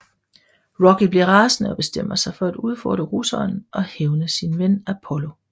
Rocky bliver rasende og bestemmer sig for at udfordre russeren og hævne sin ven Apollo